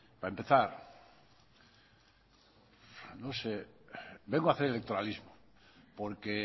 para empezar no sé vengo a hacer electoralismo porque